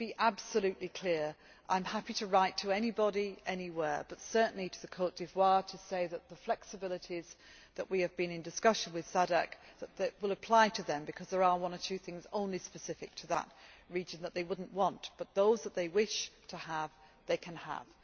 Let me be absolutely clear I am happy to write to anybody anywhere, but certainly to Côte d'Ivoire to say that the flexibilities that we have been in discussion with the Southern African Development Community will apply to them because there are one or two things only specific to that region that they would not want, but those that they wish to have they can have.